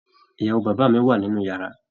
Ìyàwó bàbá mí wá nínú yàrá.